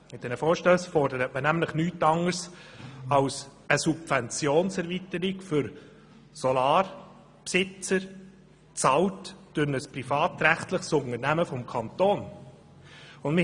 Mit diesen Vorstössen fordert man nämlich nichts anderes als eine Subventionserweiterung für Solaranlagenbesitzer, welche von einem privatrechtlichen Unternehmen des Kantons bezahlt werden sollen.